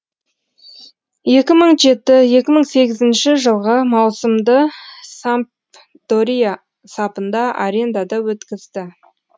екі мың жеті сегізінші жылғы маусымды сампдория сапында арендада өткізді